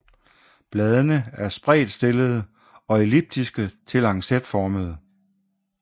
Bladene er spredtstillede og elliptiske til lancetformede